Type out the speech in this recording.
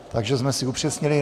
Takže jsme si upřesnili.